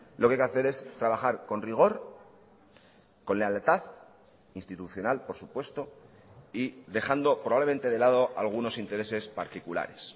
lo que hay que hacer es trabajar con rigor con lealtad institucional por supuesto y dejando probablemente de lado algunos intereses particulares